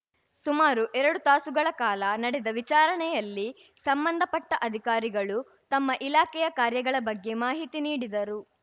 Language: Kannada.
ಸುಮಾರು ಎರಡು ತಾಸುಗಳ ಕಾಲ ನಡೆದ ವಿಚಾರಣೆಯಲ್ಲಿ ಸಂಬಂಧಪಟ್ಟಅಧಿಕಾರಿಗಳು ತಮ್ಮ ಇಲಾಖೆಯ ಕಾರ್ಯಗಳ ಬಗ್ಗೆ ಮಾಹಿತಿ ನೀಡಿದರು